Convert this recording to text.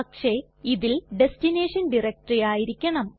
പക്ഷെ ഇതിൽ destination directory ആയിരിക്കണം